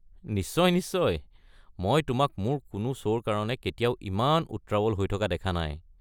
নিশ্চয় নিশ্চয়, মই তোমাক মোৰ কোনো শ্ব'ৰ কাৰণে কেতিয়াও ইমান উত্ৰাৱল হৈ থকা দেখা নাই!